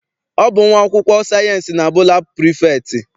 Ọ bụ nwa akwụkwọ sayịensị na-abụ laabụ prefektị.